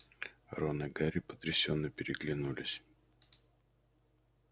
рон и гарри потрясённо переглянулись